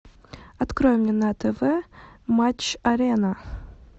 открой мне на тв матч арена